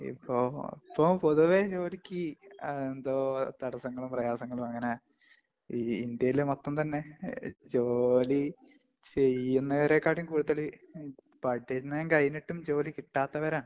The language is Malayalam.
ഇപ്പൊ ഇപ്പൊ പൊതുവേ ജോലിക്ക് ആ എന്തോ തടസങ്ങളും, പ്രയാസങ്ങളും അങ്ങനെ ഈ ഇന്ത്യയില്‍ മൊത്തം തന്നെ ഈ ജോലിചെയ്യുന്നവരെക്കാട്ടിലും കൂടുതല്‍ പഠനം കഴിഞ്ഞിട്ടും ജോലി കിട്ടാത്തവരാണ്.